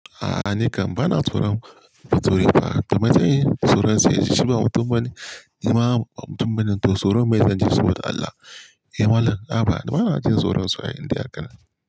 A'a ni kam bana tsoron tsuri fa, domin jiyya tsoron sa ya ji shi ba mutum bane. Ni ma ba mutum bane to tsoron, me zan ji so da Allah? Eh Malam, a'a bana jin tsoron su ai indai haka ne.